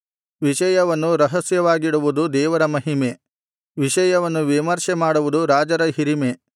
ವಿಷಯವನ್ನು ರಹಸ್ಯವಾಗಿಡುವುದು ದೇವರ ಮಹಿಮೆ ವಿಷಯವನ್ನು ವಿಮರ್ಶೆಮಾಡುವುದು ರಾಜರ ಹಿರಿಮೆ